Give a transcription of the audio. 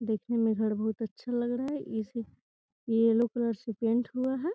घर देखने में बोहत अच्छा लग रहा है। ये येल्लो कलर से पेंट हुआ है।